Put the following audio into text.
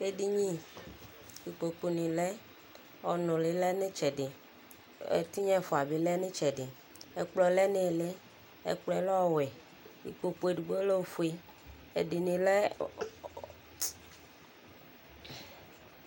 Edini, ikpoku ni lɛ, ɔnʋli lɛ nʋ itsɛdi Ɛtinya ɛfua bi lɛ nʋ itsɛdi Ɛkplɔ lɛ nʋ ili Ɛkplɔ lɛ ɔwɛ Ikpoku edigbo lɛ ofue Ɛdini lɛ